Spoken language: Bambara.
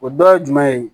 O dɔ ye jumɛn ye